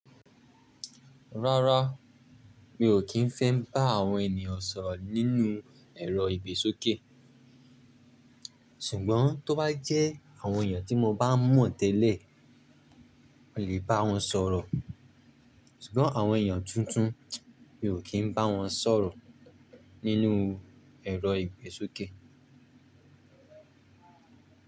Rárá, mi ò kí ń fẹ́ bá àwọn ènìyàn sọ̀rọ̀ nínú ẹ̀rọ ìgbésókè. Ṣùgbọ́n tó bá jẹ́ àwọn èèyàn tí mo bá mọ̀ tẹ́lẹ̀, mo lè bá wọn sọ̀rọ̀. Ṣùgbọ́n àwọn èèyàn tuntun, mi ò kí ń bá wọn sọ̀rọ̀ nínú ẹ̀rọ ìgbésókè.